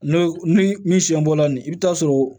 N'o ni min siɲɛ bɔla nin i bɛ taa sɔrɔ